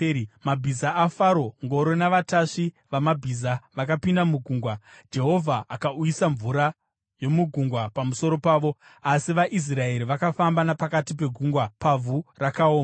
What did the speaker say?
Mabhiza aFaro, ngoro navatasvi vamabhiza vakapinda mugungwa, Jehovha akauyisa mvura yomugungwa pamusoro pavo, asi vaIsraeri vakafamba napakati pegungwa pavhu rakaoma.